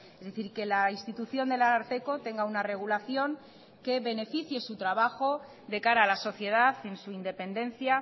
es decir que la institución del ararteko tenga una regulación que beneficie su trabajo de cara a la sociedad en su independencia